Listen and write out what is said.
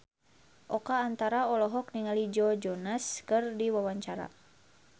Oka Antara olohok ningali Joe Jonas keur diwawancara